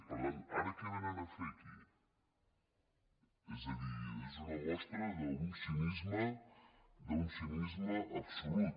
per tant ara què vénen a fer aquí és a dir és una mostra d’un cinisme absolut